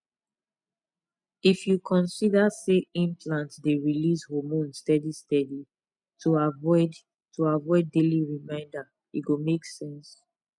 if you consider say implant dey release hormones steady steady to avoid to avoid daily reminder e go make sense